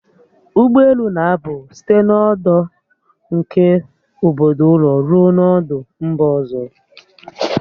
Ụgbọelu na-apụ site n'ọdụ nke obodo ụlọ ruo n'ọdụ mba ọzọ